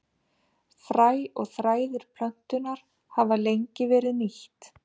Fræ og þræðir plöntunnar hafa lengi verið nýtt.